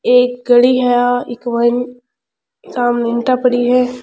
एक गली है आ इक मायने सामने ईटा पड़ी है।